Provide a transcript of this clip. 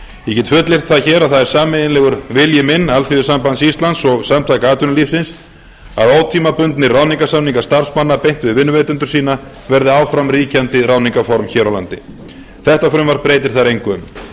ég get fullyrt það hér að það er sameiginlegur vilji minn alþýðusambands íslands og samtaka atvinnulífsins að ótímabundnir ráðningarsamningar starfsmanna beint við vinnuveitendur sína verði áfram ríkjandi ráðningarform hér á landi þetta frumvarp breytir þar engu um